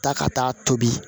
Taa ka taa tobi